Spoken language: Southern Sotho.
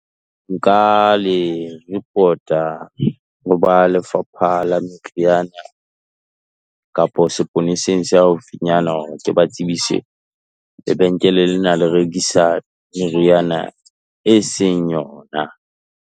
Nka le report-a, ho ba lefapha la meriana, kapa sepoleseng se haufinyana, hore ke ba tsebise, lebenkele lena la rekisa meriana e seng yona.